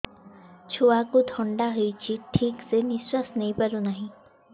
ଛୁଆକୁ ଥଣ୍ଡା ହେଇଛି ଠିକ ସେ ନିଶ୍ୱାସ ନେଇ ପାରୁ ନାହିଁ